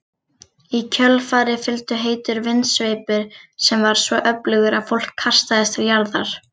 Í kjölfarið fylgdi heitur vindsveipur sem var svo öflugur að fólk kastaðist til jarðar.